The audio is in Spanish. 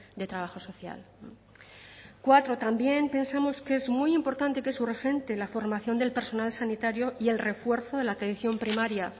de trabajo social cuatro también pensamos que es muy importante que es urgente la formación del personal sanitario y el refuerzo de la atención primaria